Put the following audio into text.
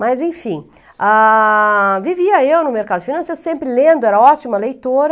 Mas enfim, vivia eu no mercado financeiro, sempre lendo, era ótima leitora.